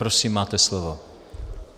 Prosím, máte slovo.